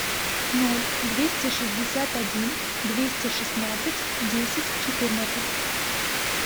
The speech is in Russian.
ноль двести шестьдесят один двести шестнадцать десять четырнадцать